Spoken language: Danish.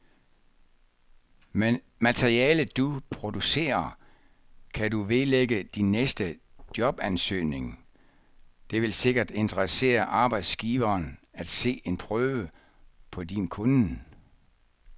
Materialet, du producerer, kan du vedlægge din næste jobansøgning, det vil sikkert interessere arbejdsgiveren at se en prøve på din kunnen.